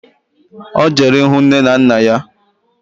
Ọ jere ịhụ nne na nna ya